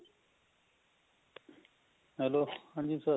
ਹਾਂਜੀ